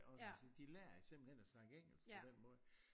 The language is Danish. Og så kan man sige de lærer jo simpelthen at snakke engelsk på den måde